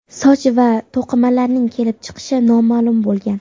Soch va to‘qimalarning kelib chiqishi noma’lum bo‘lgan.